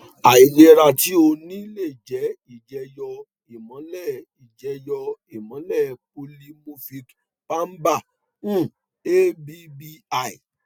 àìlera tí o ní lè jẹ ìjẹyọ ìmọlẹ ìjẹyọ ìmọlẹ polymorphic palba um abbl